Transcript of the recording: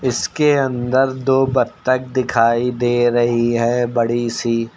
इसके अंदर दो बत्तख दिखाई दे रही है बड़ी सी।